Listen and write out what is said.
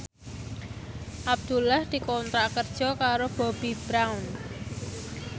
Abdullah dikontrak kerja karo Bobbi Brown